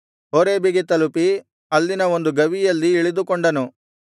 ಹೋರೇಬಿಗೆ ತಲುಪಿ ಅಲ್ಲಿನ ಒಂದು ಗವಿಯಲ್ಲಿ ಇಳಿದುಕೊಂಡನು ಆಗ ಅವನಿಗೆ ಯೆಹೋವನಿಂದ ಎಲೀಯನೇ ನೀನು ಇಲ್ಲೇನು ಮಾಡುತ್ತೀ ಎಂಬ ವಾಣಿಯು ಕೇಳಿಸಿತು